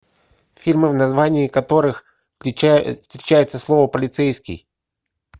фильмы в названии которых встречается слово полицейский